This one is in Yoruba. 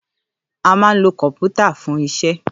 À mà ń ló kọpútà fún ìsẹ